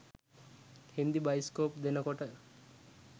Hindi bioscope දෙනකොට